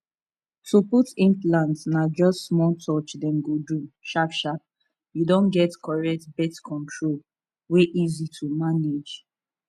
to put implant na just small touch dem go do sharpsharp you don get correct birth control wey easy to manage